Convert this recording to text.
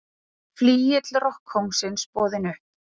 Flygill rokkkóngsins boðinn upp